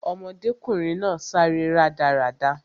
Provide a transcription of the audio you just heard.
Ọmọdékùnrin náà sáré rádaràda